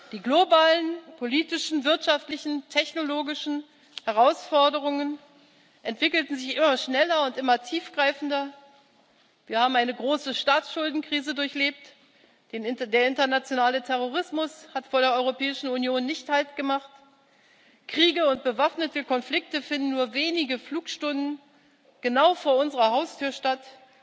Die globalen politischen, wirtschaftlichen und technologischen Herausforderungen entwickelten sich immer schneller und immer tiefgreifender. Wir haben eine große Staatsschuldenkrise durchlebt, der internationale Terrorismus hat vor der Europäischen Union nicht haltgemacht, Kriege und bewaffnete Konflikte finden nur wenige Flugstunden von hier genau vor unserer Haustür statt,